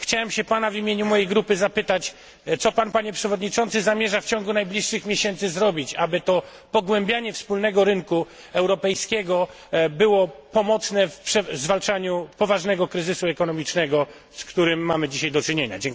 Chciałem się pana w imieniu mojej grupy zapytać, co pan, panie przewodniczący, zamierza w ciągu najbliższych miesięcy zrobić, aby to pogłębianie wspólnego rynku europejskiego było pomocne w zwalczaniu poważnego kryzysu ekonomicznego, z którym mamy dzisiaj do czynienia